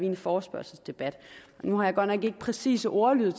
en forespørgselsdebat nu har jeg godt nok ikke den præcise ordlyd af